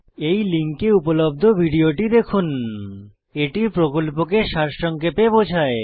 এই লিঙ্কে উপলব্ধ ভিডিওটি দেখুন httpspoken tutorialorgWhat is a Spoken tutorial এটি প্রকল্পকে সারসংক্ষেপে বোঝায়